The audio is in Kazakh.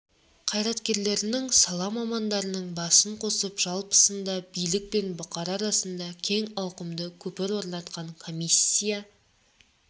қайраткерлерінің сала мамандарының басын қосып жалпысында билік пен бұқара арасында кең ауқымды көпір орнатқан комиссия